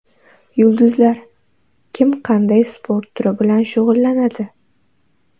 Yulduzlar: kim qanday sport turi bilan shug‘ullanadi?